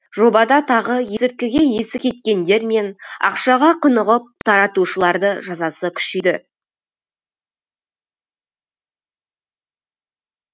жобада тағы есірткіге есі кеткендер мен ақшаға құнығып таратушыларды жазасы күшейді